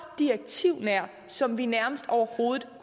direktivnær som vi nærmest overhovedet